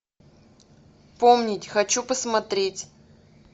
помнить хочу посмотреть